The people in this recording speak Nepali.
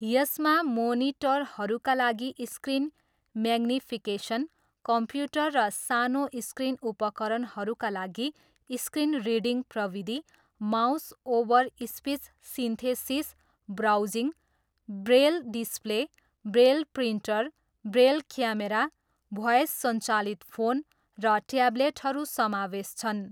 यसमा मोनिटरहरूका लागि स्क्रिन म्याग्निफिकेसन, कम्प्युटर र सानो स्क्रिन उपकरणहरूका लागि स्क्रिन रिडिङ प्रविधि, mouse over speech synthesis browsing, Braille display, Braille printer, Braille camera, voice सञ्चालित फोन, र ट्याब्लेटहरू समावेश छन्।